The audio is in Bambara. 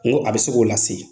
N ko a bɛ se k'o lase